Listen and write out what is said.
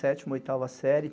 Sétima, oitava série.